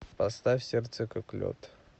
поставь сердце как лед